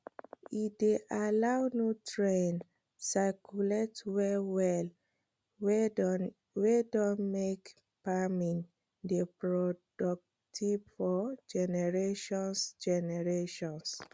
e dey allow nutrient circulate well well wey don make farming dey productive for generations generations